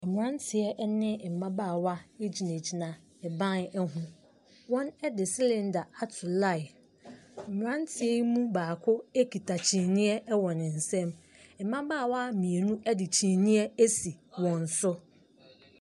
Mmeranteɛ ne mmabaawa gyinagyina ban ho. Wɔde cylinder ato line. Mmeranteɛ yi mu baako kita kyiniiɛ wɔ ne nsam. Mmabaawa mmienu de kyiniiɛ asi wɔn so.